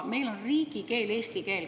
Meie riigikeel on eesti keel.